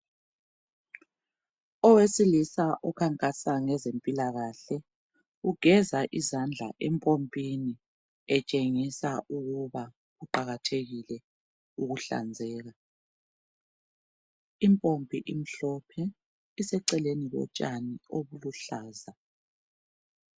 Owesilisa okhankasa ngezempilakahle ugeza izandla empompini etshengisa ukuba kuqakathekile ukuhlanzeka. Impompi emhlophe iseceleni kotshani obuluhlaza.